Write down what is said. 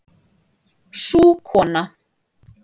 Sú kona